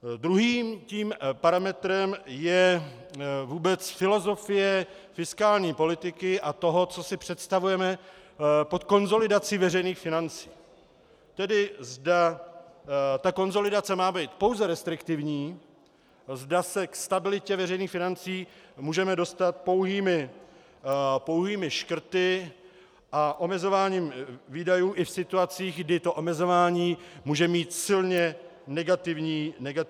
Druhým tím parametrem je vůbec filozofie fiskální politiky a toho, co si představujeme pod konsolidací veřejných financí, tedy zda ta konsolidace má být pouze restriktivní, zda se k stabilitě veřejných financí můžeme dostat pouhými škrty a omezováním výdajů i v situacích, kdy to omezování může mít silně negativní efekt.